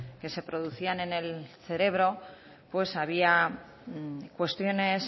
que se producían en el cerebro pues había cuestiones